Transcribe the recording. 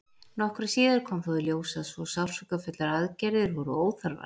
Nokkru síðar kom þó í ljós að svo sársaukafullar aðgerðir voru óþarfar.